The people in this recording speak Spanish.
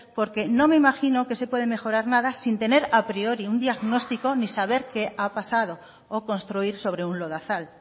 porque no me imagino que se puede mejorar nada sin tener a priori un diagnóstico ni saber qué ha pasado o construir sobre un lodazal